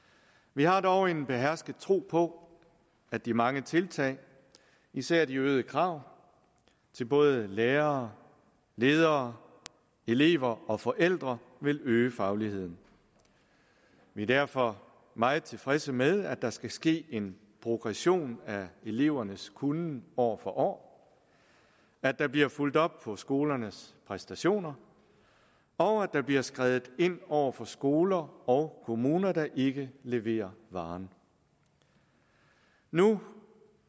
vi har dog en behersket tro på at de mange tiltag især de øgede krav til både lærere ledere elever og forældre vil øge fagligheden vi er derfor meget tilfredse med at der skal ske en progression af elevernes kunnen år for år at der bliver fulgt op på skolernes præstationer og at der bliver skredet ind over for skoler og kommuner der ikke leverer varen nu